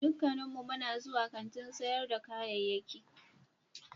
Dukkanmu muna zuwa kantin sayar da kayayyaki